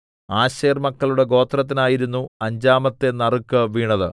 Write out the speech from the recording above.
ആശേർമക്കളുടെ ഗോത്രത്തിനായിരുന്നു അഞ്ചാമത്തെ നറുക്കു വീണത്